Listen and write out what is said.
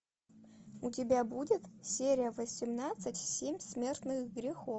у тебя будет серия восемнадцать семь смертных грехов